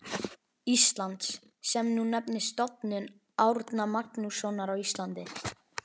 Íslands, sem nú nefnist Stofnun Árna Magnússonar á Íslandi.